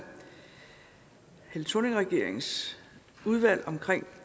helle thorning schmidt regeringens udvalg for